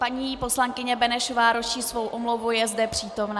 Paní poslankyně Benešová ruší svou omluvu, je zde přítomna.